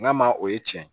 Nka ma o ye tiɲɛ ye